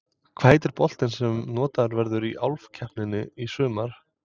Hvað heitir boltinn sem notaður verður í Álfukeppninni í sumar?